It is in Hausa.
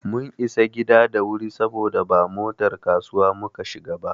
Mun isa gida da wuri saboda ba motar kasuwa muka shiga ba.